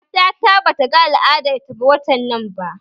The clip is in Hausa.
Matata bata ga al'adar ta watan nan ba